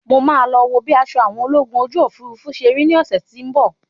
Mo máa lọ wo bí aṣọ àwọn ológun ojú òfurufú ṣe rí ní ọ̀sẹ́ tí ń bọ̀.